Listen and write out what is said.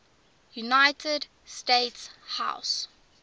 united states house